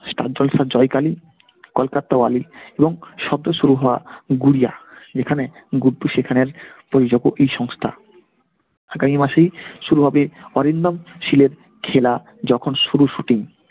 star জলসার Joy Kali Kolkattawali এবং সদ্য শুরু হওয়া গুড়িয়া যেখানে গুড্ডু সেখানের ই সংস্থা . আগামি মাসেই শুরু হইবে অরিন্দম শীলের খেলা যখন শুরুর shooting.